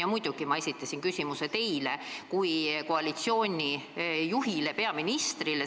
Ja muidugi ma esitasin küsimuse teile kui koalitsiooni juhile, peaministrile.